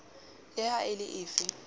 le ha e le efe